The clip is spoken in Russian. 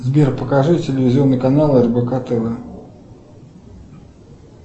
сбер покажи телевизионный канал рбк тв